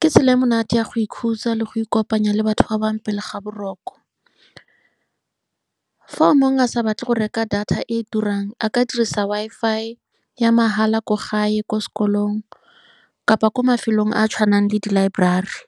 Ke tsela e e monate ya go ikhutsa le go ikopanya le batho ba bangwe pele ga boroko. Fa o mongwe a sa batle go reka data e e turang, a ka dirisa Wi-Fi ya mahala ko gae, ko sekolong kapa ko mafelong a a tshwanang le di-library.